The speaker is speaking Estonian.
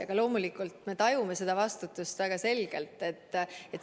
Aga loomulikult me tajume seda vastutust väga selgelt.